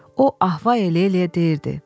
O ah-va elə-elə deyirdi.